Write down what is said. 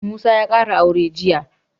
Musa ya ƙara aure jiya